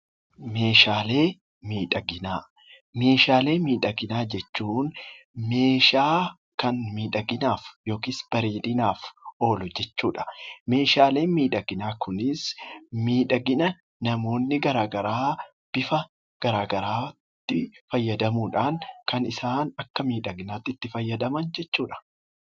Meeshaalee miidhaginaa jechuun meeshaa kan miidhaginaa fi yookiis bareedinaaf oolu jechuudha. Meeshaaleen miidhaginaa kunis miidhagina namoonni garaagaraa bifa garaagaraatti fayyadamuudhaan kan isaan akka miidhaginaatti itti fayyadaman jechuudha.